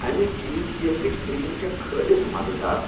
امِہ چیز کیکٕچ کریم چِھ خٲلص مزٕدار۔